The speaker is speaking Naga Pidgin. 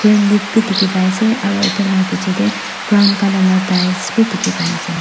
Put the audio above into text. green leaf bhi dekhi pai ase aru etu laga piche te brown colour tails bhi dekhi pai ase.